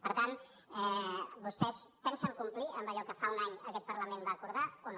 per tant vostès pensen complir amb allò que fa un any aquest parlament va acordar o no